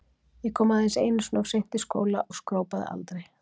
Ég kom aðeins einu sinni of seint í skóla og skrópaði aldrei.